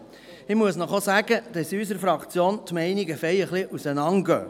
Ich muss Ihnen auch sagen, dass die Meinungen in unserer Fraktion recht auseinandergehen.